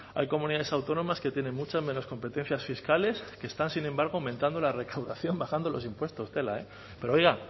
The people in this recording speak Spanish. hay comunidades autónomas que tienen muchas menos competencias fiscales que están sin embargo aumentando la recaudación bajando los impuestos tela eh pero oiga